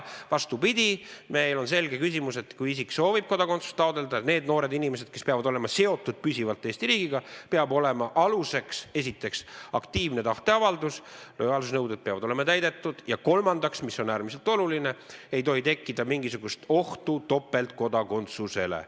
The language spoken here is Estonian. Vastupidi, meil on selge seisukoht, et kui isik soovib kodakondsust taotleda – need noored inimesed, kes peavad olema püsivalt seotud Eesti riigiga –, peab esiteks olema aluseks võtta aktiivne tahteavaldus, teiseks peavad olema täidetud lojaalsusnõuded ja kolmandaks, mis on äärmiselt oluline, ei tohi tekkida mingisugust ohtu topeltkodakondsusele.